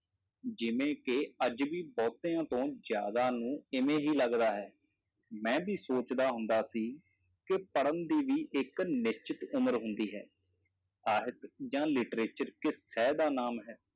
ਜਿਵੇਂ ਕਿ ਅੱਜ ਵੀ ਬਹੁਤਿਆਂ ਤੋਂ ਜ਼ਿਆਦਾ ਨੂੰ ਇਵੇਂ ਹੀ ਲੱਗਦਾ ਹੈ, ਮੈਂ ਵੀ ਸੋਚਦਾ ਹੁੰਦਾ ਸੀ ਕਿ ਪੜ੍ਹਨ ਦੀ ਵੀ ਇੱਕ ਨਿਸ਼ਚਿਤ ਉਮਰ ਹੁੰਦੀ ਹੈ ਸਾਹਿਤ ਜਾਂ literature ਕਿਸ ਸੈਅ ਦਾ ਨਾਮ ਹੈ,